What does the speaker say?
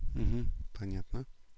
понятно